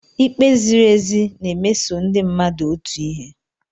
Ikpe ziri ezi na-emeso ndị mmadụ otu ihe.